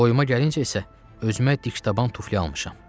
Boyuma gəlincə isə özümə dikdaban tufli almışam.